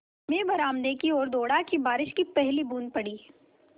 मैं बरामदे की ओर दौड़ा कि बारिश की पहली बूँद पड़ी